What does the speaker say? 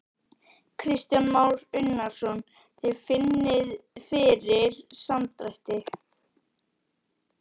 Kristján Már Unnarsson: Þið finnið fyrir samdrætti?